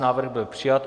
Návrh byl přijat.